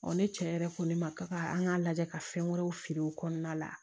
ne cɛ yɛrɛ ko ne ma ka an k'a lajɛ ka fɛn wɛrɛw feere o kɔnɔna la